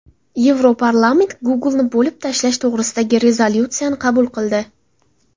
Yevroparlament Google’ni bo‘lib tashlash to‘g‘risidagi rezolyutsiyani qabul qildi.